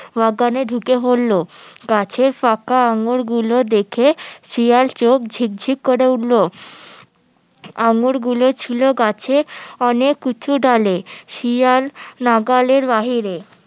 বাগানে ঢুকে পড়লো গাছের ফাঁকা আঙ্গুর গুলো দেখে শিয়াল চোখ ঝিকঝিক করে উঠলো আঙ্গুর গুলো ছিল গাছে অনেক উঁচু ডালে শিয়াল নাগালের বাহিরে